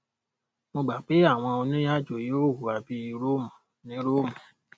mo gbà pé àwọn onírìnàjò yóò hùwà bí róòmù ní róòmù